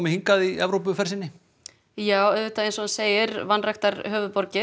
hingað í Evrópuferð sinni já auðvitað eins og hann segir vanræktar höfuðborgir